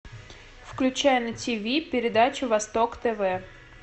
включай на тв передачу восток тв